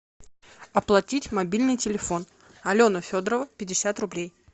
оплатить мобильный телефон алена федорова пятьдесят рублей